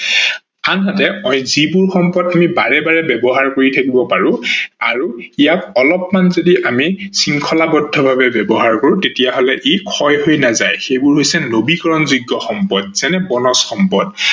আনহাতে যিবোৰ সম্পদ আমি বাৰে বাৰে ব্যৱহাৰ কৰি থাকিব পাৰো আৰু ইয়াক অলপমান যদি আমি শৃংখলাবদ্ধ ভাবে ব্যৱহাৰ কৰো তাতিয়াহলে ই ক্ষয় হৈ নাযায় সেইবোৰ হৈছে নৱীকৰনযোগ্য সম্পদ যেনে বনজ সম্পদ